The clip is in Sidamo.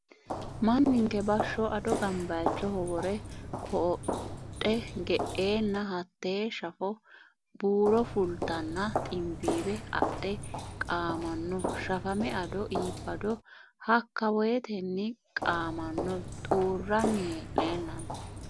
Manninke bashsho ado gambayichoho wore codhe ge"enna hate shafe buuro fultenna ximbiwe adhe qaamano shafame ado iibbado hakka woyteni qaamano xuurani hee'nenanni.